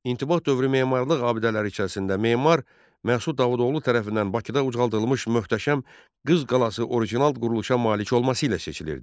İntibah dövrü memarlıq abidələri içərisində memar Məhsud Davudoğlu tərəfindən Bakıda ucaldılmış möhtəşəm Qız qalası orijinal quruluşa malik olması ilə seçilirdi.